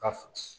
Ka